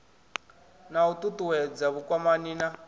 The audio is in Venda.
na u ṱuṱuwedza vhukwamani na